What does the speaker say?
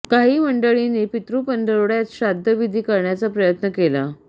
काही मंडळींनी पितृपंधरवडयात श्राद्ध विधी करण्याचा प्रयत्न केला